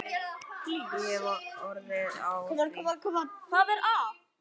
Hún hefur orð á því.